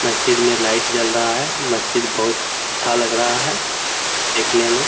मस्जिद में लाईट जल रहा है। मस्जिद बहुत अच्छा लग रहा है देखने में।